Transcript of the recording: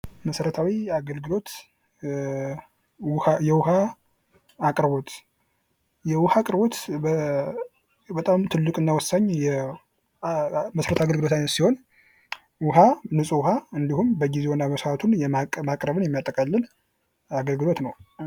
መሠረታዊ የአገልግሎት ውሃ የውሃ አቅርቦት የውኃ አቅርቦት በጣም ትልቅና ወሳኝ መሠረታዊ የአገልግሎት ሲሆን፤ ውኃ ንፁህ ውሃ እንዲሁም በጊዜውና በሰዓቱ ማቅረብን የሚያጠቃልል አገልግሎት ነው።